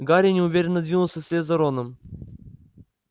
гарри неуверенно двинулся вслед за роном